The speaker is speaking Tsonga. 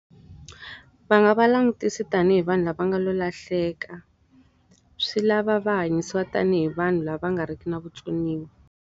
Va nga va langutisi tanihi vanhu lava nga lo lahleka. Swi lava va hanyisiwa tanihi vanhu lava nga ri ki na vutsoniwa